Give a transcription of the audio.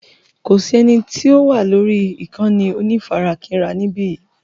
Kò sí eni tó wà lórí ìkànnì onífarakínra níbí yìí.